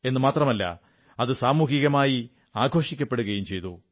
എന്നു മാത്രമല്ല അത് സാമൂഹികമായി ആഘോഷിക്കപ്പെടുകയും ചെയ്തു